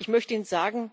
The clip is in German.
Ich möchte Ihnen sagen